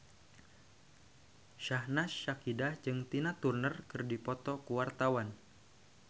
Syahnaz Sadiqah jeung Tina Turner keur dipoto ku wartawan